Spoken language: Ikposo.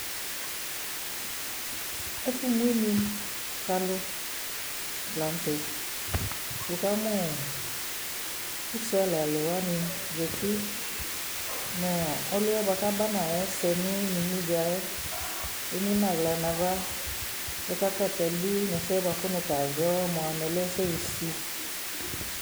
Ɛfu mu inu ku alu la nu tɛ Wukamu usealaluwani za uti nu ɔlu yɛ ku aba nu ayɛ ɛsɛ nu inumudza yɛ emu nu aɣla nu ava ku ɔkaka atabu nu ɛsɛ ku nu tazɔ mua lɛ ɛsɛ sisi